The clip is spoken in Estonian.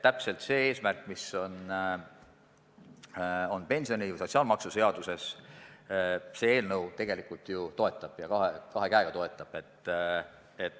Täpselt seda eesmärki, mis on sotsiaalmaksuseaduses, see eelnõu ju tegelikult toetab – ja kahe käega toetab.